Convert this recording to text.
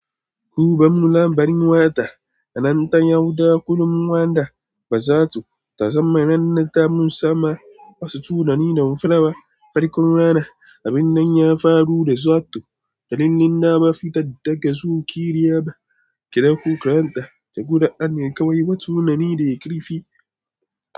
"Hubanmu lambarin wata, nan ta yauda kullum wanda ba zato ta zamanannata mun sama wasu tunani da mun fara farkon rana. Abin nan ya faru da zato, da linina ba fitan daga zuciya ba. Ki dauko karanta ka guda, ana kawai wasu tunani da ya kira fi."